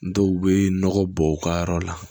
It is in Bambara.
N dɔw bɛ nɔgɔ bɔ u ka yɔrɔ la